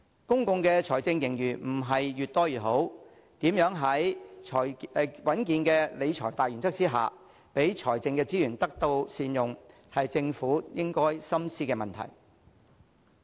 公共財政盈餘並非越多越好，如何在穩健理財的大原則下，讓財政資源得到善用，是政府應該深思的問題。